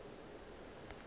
ga go seo nka se